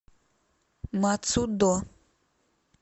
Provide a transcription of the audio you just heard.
мацудо